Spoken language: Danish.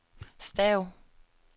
stav